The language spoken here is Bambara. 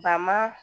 Ba ma